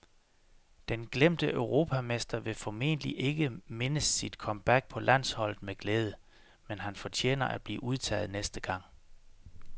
Den glemte europamester vil formentlig ikke mindes sit comeback på landsholdet med glæde, men han fortjener at blive udtaget næste gang.